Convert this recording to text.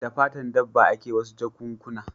Da fatan dabba a ke yin wasu jakunkuna